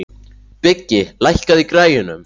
Biggi, lækkaðu í græjunum.